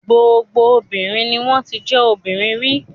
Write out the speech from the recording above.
Gbogbo obìnrin ni wọ́n ti jẹ́ ọmọbìnrin rí.